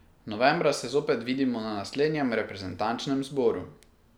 Novembra se zopet vidimo na naslednjem reprezentančnem zboru.